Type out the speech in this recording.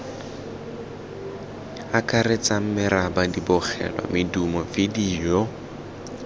akaretsang meraba dibogelwa medumo vidio